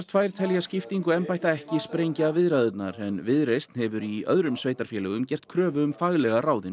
tvö telja skiptingu embætta ekki sprengja viðræðurnar en Viðreisn hefur í öðrum sveitarfélögum gert kröfu um faglega ráðinn